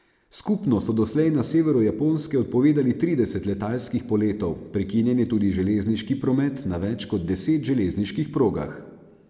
Skupno so doslej na severu Japonske odpovedali trideset letalskih poletov, prekinjen je tudi železniški promet na več kot deset železniških progah.